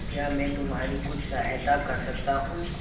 क्या मैं तुम्हारी कुछ सहायता कर सकता हूं